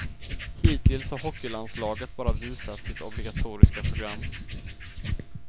Hittills har hockeylandslaget bara visat sitt obligatoriska program.